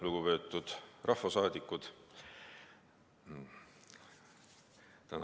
Lugupeetud rahvasaadikud!